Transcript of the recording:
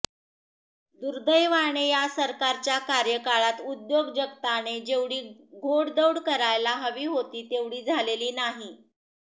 दुर्देवाने या सरकारच्या कार्यकाळात उद्योग जगताने जेवढी घोडदौड करायला हवी होती तेवढी झालेली नाही